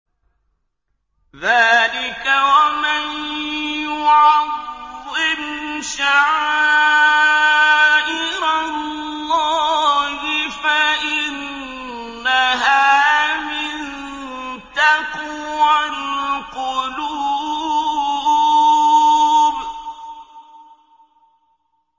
ذَٰلِكَ وَمَن يُعَظِّمْ شَعَائِرَ اللَّهِ فَإِنَّهَا مِن تَقْوَى الْقُلُوبِ